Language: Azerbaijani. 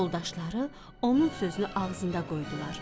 Yoldaşları onun sözünü ağzında qoydular.